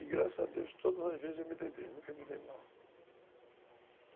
E graças a Deus, todas as vezes eu me dei bem, nunca me dei mal.